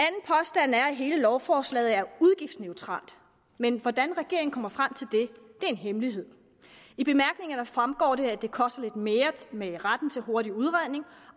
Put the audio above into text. hele lovforslaget er udgiftsneutralt men hvordan regeringen kommer frem til det er en hemmelighed i bemærkningerne fremgår det at det koster lidt mere med retten til hurtig udredning